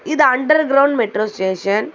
இது underground metro station .